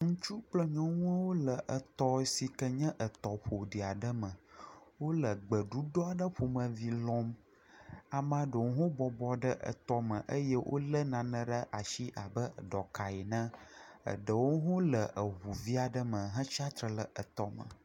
Ŋutsu kple nyɔnu le etɔ si kee nye etɔ ƒo ɖi aɖe me. Wole gbeɖuɖɔ aɖe ƒomeci lɔm. Amaa ɖewo hã wobɔbɔ ɖe etɔme eye wolé nane ɖe ashi abe ɖɔka ne. Eɖewo hã wole eŋuvi aɖe me hetsi atre le etɔme.